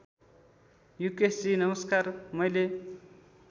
युकेशजी नमस्कार मैले